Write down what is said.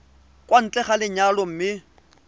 kwa ntle ga lenyalo mme